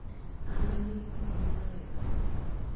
ameni, thiĩ nawega